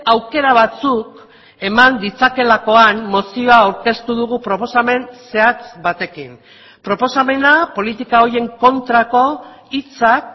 aukera batzuk eman ditzakeelakoan mozioa aurkeztu dugu proposamen zehatz batekin proposamena politika horien kontrako hitzak